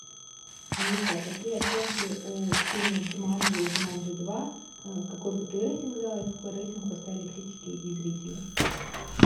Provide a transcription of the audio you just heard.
алиса какие оценки у фильмов джуманджи и джуманджи два какой бы ты рейтинг дала и какой рейтинг поставили критики и зрители